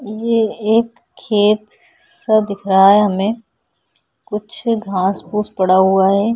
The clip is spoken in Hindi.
ये एक खेत- सा दिख रहा है हमें कुछ घास- फुस पड़ा हुआ हैं।